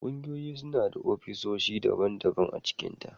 Kungiyoyi suna da ofisoshi daban- daban cikinta.